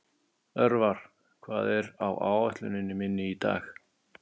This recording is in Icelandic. Örvar, hvað er á áætluninni minni í dag?